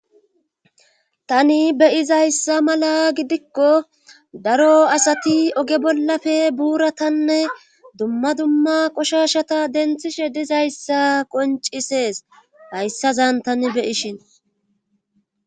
Tani beyizayssa mala gidikko daro asati oge bollafe buura tanne dumma dumma qoshashata denthishe dizayssa qoncisees hayssazan tani beyishin